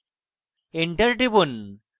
enter টিপুন